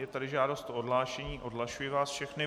Je tady žádost o odhlášení, odhlašuji vás všechny.